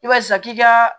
I b'a ye sisan k'i ka